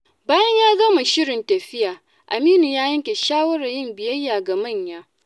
Bayan ya gama shirin tafiya, Aminu ya yanke shawarar yin biyayya ga manya.